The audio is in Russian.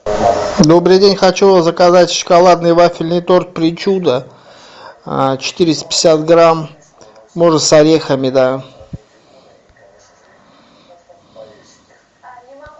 добрый день хочу заказать шоколадный вафельный торт причуда четыреста пятьдесят грамм можно с орехами да